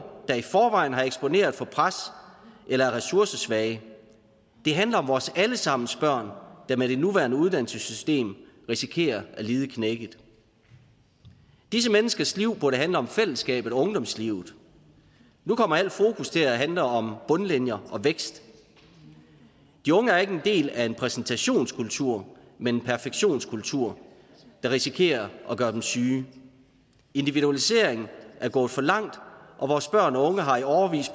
der i forvejen er eksponeret for pres eller er ressourcesvage det handler om vores alle sammens børn der med det nuværende uddannelsessystem risikerer at lide knækket disse menneskers liv burde handle om fællesskabet og ungdomslivet nu kommer alt fokus til at handle om bundlinjer og vækst de unge er ikke en del af en præstationskultur men en perfektionskultur der risikerer at gøre dem syge individualiseringen er gået for langt og vores børn og unge har i årevis